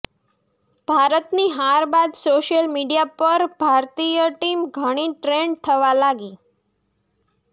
ભારતની હાર બાદ સોશિયલ મીડિયા પર ભારતીય ટીમ ઘણી ટ્રેન્ડ થવા લાગી